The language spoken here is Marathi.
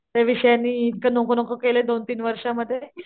त्या विषयाने इतकं नको नको केलाय दोन तीन वर्ष मध्ये.